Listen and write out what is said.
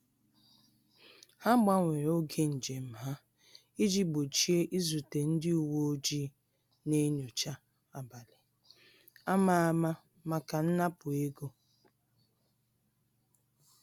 Ha gbanwere oge njem ha iji gbochie izute ndị uweojii na-enyocha abalị a ma ama maka nnapu ego